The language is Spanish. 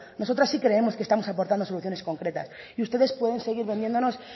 nosotras sí creemos que estamos aportando soluciones concretas y ustedes pueden seguir vendiéndonos